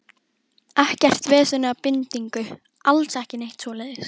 Ekkert vesen eða bindingu, alls ekki neitt svoleiðis.